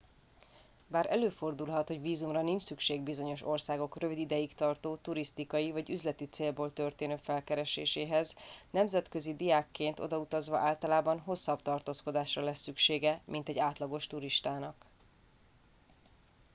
bár előfordulhat hogy vízumra nincs szükség bizonyos országok rövid ideig tartó turisztikai vagy üzleti célból történő felkereséséhez nemzetközi diákként odautazva általában hosszabb tartózkodásra lesz szüksége mint egy átlagos turistának